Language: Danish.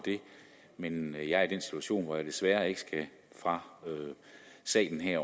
men jeg er i den situation hvor jeg desværre ikke fra salen her